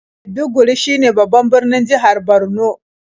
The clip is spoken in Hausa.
Maiduguri shine babban birnin jihar Borno.